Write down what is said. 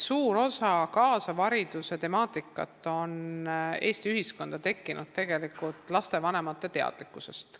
Suur osa kaasava hariduse temaatikast on Eesti ühiskonnas tekkinud tegelikult lastevanemate teadlikkuse tõttu.